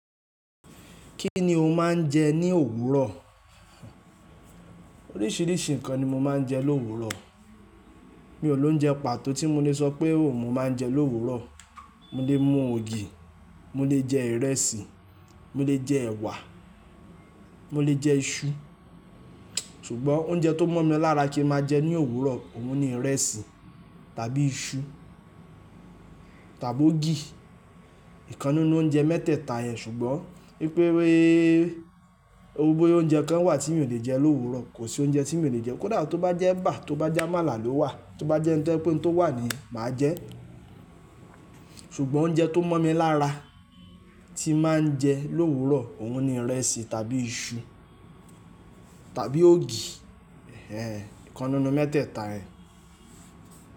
Kí ni o máa ń jẹ ní òwúrọ̀? Oríṣiríṣi nǹkan ni mo máa ń jẹ l'òwúrọ̀. Mi ò lóúnjẹ pàtó tí mo lè sọ pé òun mo máa ń jẹ l'òwúrọ̀. Mo lè mú ògì, mo lè jẹ ìrẹsì, mo lè jẹ ẹwà, mo lè jẹ iṣu. Ṣùgbọ́n oúnjẹ tó mọ̀ mi lára ki n màá jẹ ní òwúrọ̀, òun ni ìrẹsì, tàbí iṣu, tàbí ògì. Ìkan nínú oúnjẹ mẹ́tẹ̀ẹ̀ta yẹn ṣùgbọ́n wípé wípé boya oúnjẹ kan wà tí mi ò lè jẹ l'òwúrọ̀, kò sí oúnjẹ tí mi ò lè jẹ. Kódà tó bá jẹ́ ẹ̀bà, tó bá jẹ́ amàálà ló wà, tó bá jẹ́ oun to je pe oun tó wà ni yen màá jẹ. Ṣùgbọ́n oúnjẹ tó mọ̀ mi lára tí màá ń jẹ l'òwúrọ̀, òun ni ìrẹsì tàbí iṣu tàbí ògì. Ehen, ìkan nínú mẹ́tẹ̀ẹ̀ta yẹ̀n.